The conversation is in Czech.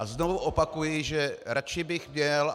A znovu opakuji, že radši bych měl...